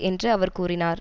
என்று அவர் கூறினார்